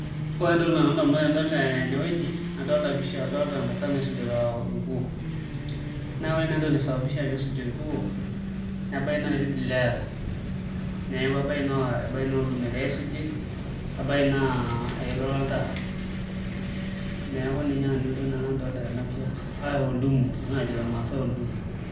Ore taa entoki nalotu ndamunot tenadol enewueji adolita ntasati naisujita orkuoo naa ore naai entoki naisababisha pee isuji orkuoo nebaiki naa irpidila eeta, neeku ebaiki naa oldoom egirai aisujie nebaiki naa eilata oltaa, neeku ninye naa nanu entoki nadolita tena pisha arashu oldumu enesho najo irmaasai oldumu.